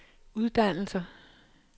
uddannelser